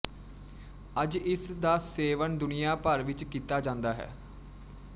ਅੱਜ ਇਸ ਦਾ ਸੇਵਨ ਦੁਨੀਆ ਭਰ ਵਿੱਚ ਕੀਤਾ ਜਾਂਦਾ ਹੈ